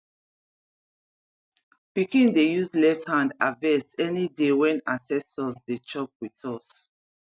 pikin dey use left hand harvest any day when ancestors dey chop with us